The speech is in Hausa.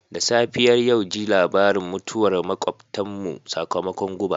Da safiyar yau ji labarin mutuwar makwabtanmu sakamakon guba.